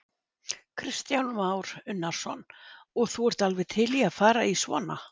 Kristján Már Unnarsson: Og þú ert alveg til í að fara í svona?